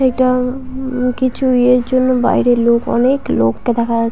এটা উহ-হ কিছু ইয়ের জন্য বাইরে লোক অনেক লোককে দেখা যা--